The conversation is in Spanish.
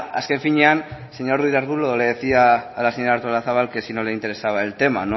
azken finean señor ruiz de arbulo le decía a la señora artolazabal que si no le interesaba el tema